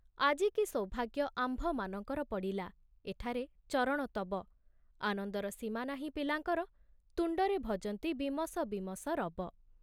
ଆଜି କି ସୌଭାଗ୍ୟ ଆମ୍ଭମାନଙ୍କର ପଡ଼ିଲା ଏଠାରେ ଚରଣ ତବ ଆନନ୍ଦର ସୀମା ନାହିଁ ପିଲାଙ୍କର ତୁଣ୍ଡରେ ଭଜନ୍ତି ବୀମସ ବୀମସ ରବ।